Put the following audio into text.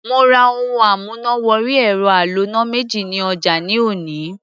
Mo ra ohun amúnà wọrí ẹ̀rọ aloná méjì ní ọjà ní òní.